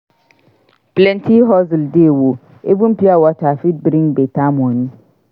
Plenty hustle dey o! Even pure water fit bring beta money.